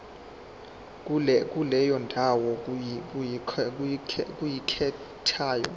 kuleyo ndawo oyikhethayo